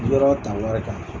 Yɔrɔ ta wari t'a la